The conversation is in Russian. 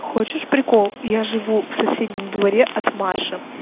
хочешь прикол я живу в соседнем дворе от маши